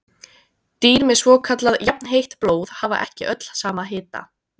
Dýr með svokallað jafnheitt blóð hafa ekki öll sama hita.